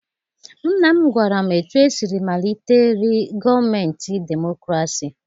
Nna m gwara m etu esiri malitere gọọmentị demokrasi.